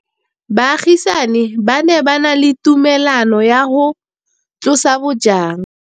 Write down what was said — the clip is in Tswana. Baagisani ba ne ba na le tumalanô ya go tlosa bojang.